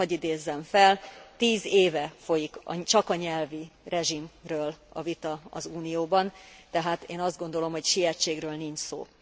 Csak hadd idézzem fel, tíz éve folyik csak a nyelvi rezsimről a vita az Unióban, tehát én azt gondolom, hogy sietségről nincs szó.